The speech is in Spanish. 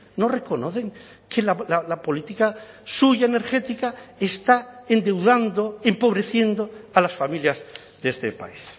no reconocen que la política suya energética está endeudando empobreciendo a las familias de este país